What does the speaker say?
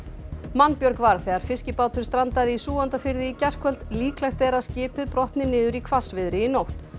mannbjörg varð þegar fiskibátur strandaði í Súgandafirði í gærkvöldi líklegt er að skipið brotni niður í hvassviðri í nótt